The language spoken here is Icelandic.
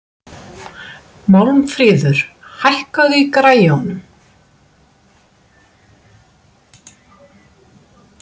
Málmfríður, hækkaðu í græjunum.